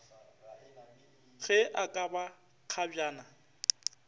ge e ka ba kgabjana